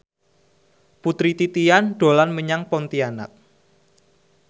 Putri Titian dolan menyang Pontianak